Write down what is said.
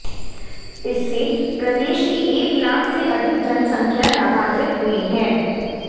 इससे प्रदेश की एक लाख से अधिक जनसंख्या लाभान्वित हुई है